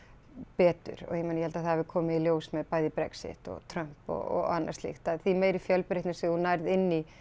betur og ég meina ég held að það hafi komið í ljós með bæði Brexit og Trump og annað slíkt að því meiri fjölbreytni sem þú nærð inn í